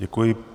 Děkuji.